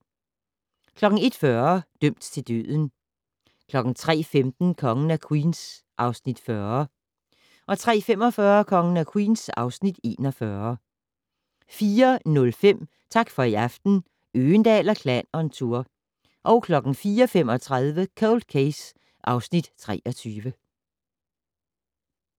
01:40: Dømt til døden 03:15: Kongen af Queens (Afs. 40) 03:45: Kongen af Queens (Afs. 41) 04:05: Tak for i aften - Øgendahl & Klan on tour 04:35: Cold Case (Afs. 23)